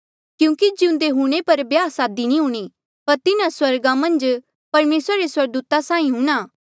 क्यूंकि जिउंदे हूंणे पर ब्याह सादी नी हूणीं पर तिन्हा स्वर्गा मन्झ परमेसरा रे स्वर्गदूता साहीं हूंणां